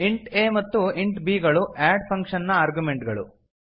int a ಮತ್ತು int b ಗಳು add function ನ ಆರ್ಗ್ಯುಮೆಂಟ್ ಗಳು